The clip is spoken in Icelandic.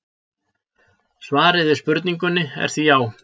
Svarið við spurningunni er því já!